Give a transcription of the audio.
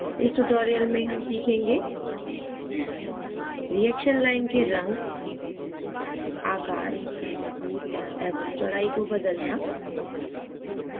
इस tutorial में हम सीखेंगे: reaction line के in आकार एवं चौड़ाई को बदलना